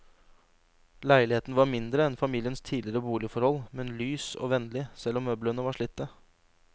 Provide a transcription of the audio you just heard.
Leiligheten var mindre enn familiens tidligere boligforhold, men lys og vennlig, selv om møblene var slitte.